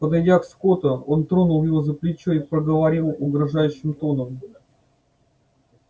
подойдя к скотту он тронул его за плечо и проговорил угрожающим тоном